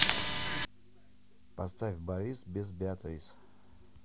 поставь борис без беатрис